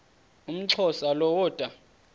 umxhosa lo woda